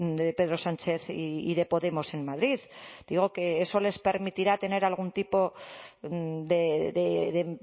de pedro sánchez y de podemos en madrid digo que eso les permitirá tener algún tipo de